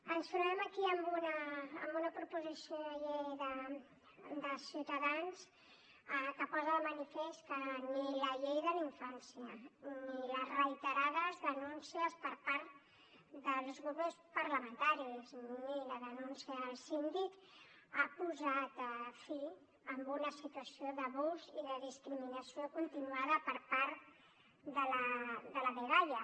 ens trobem aquí amb una proposició de llei de ciutadans que posa de manifest que ni la llei de la infància ni les reiterades denúncies per part dels grups parlamentaris ni la denúncia al síndic han posat fi a una situació d’abús i de discriminació continuada per part de la dgaia